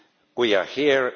We are here.